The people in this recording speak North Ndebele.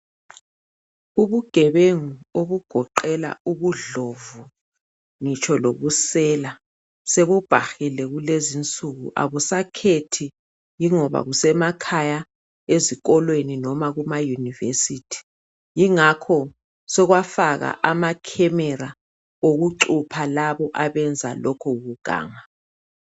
Ubugebengu obugoqela ubudlovu ngitsho lobusela sebubhahile kulezinsuku, akusakhethi yingoba kusemakhaya, ezikolweni noma kumayunivesithi. Yingakho sokwafaka amakhemera okucupha labo abenza lokhu kuganga.